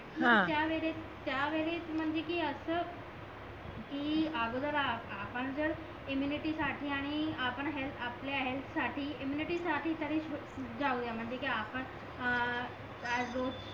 त्या वेडेस म्हणजे कि असं कि अगोदर आपण जर इममुनीटी साठी आणि आपण हेअल्थ आपल्या हेअल्थ इम्मुनिटी साठी तरी जाऊया म्हणजे कि पण अं